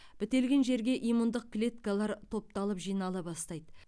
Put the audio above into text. бітелген жерге иммундық клеткалар топталып жинала бастайды